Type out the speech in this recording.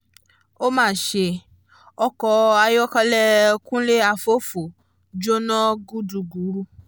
ó ma ṣe ọkọ̀ ayọ́kẹ́lẹ́ kúnlé àfọ́fọ́ jóná gúdugùru